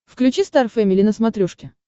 включи стар фэмили на смотрешке